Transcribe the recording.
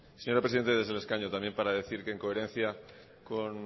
señora presidenta desde el escaño también para decir que en coherencia con